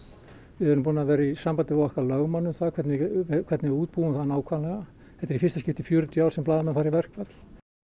við erum búin að vera í sambandi við okkar lögmann um það hvernig hvernig við útbúum það nákvæmlega þetta er í fyrsta skipti í fjörutíu ár sem blaðamenn fara í verkfall